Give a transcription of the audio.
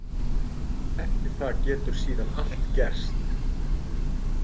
Eftir það getur síðan allt gerst.